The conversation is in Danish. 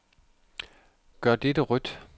Gør dette rødt.